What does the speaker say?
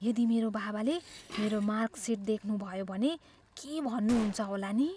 यदि मेरो बाबाले मेरो मार्कसिट देख्नुभयो भने के भन्नुहुन्छ होला नि।